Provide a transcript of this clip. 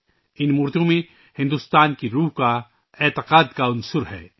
ان مورتیوں میں بھارت کی روح کا عقیدت کا عنصر ہے